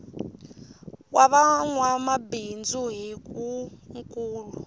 wa va nwabindzu hi wu nkulu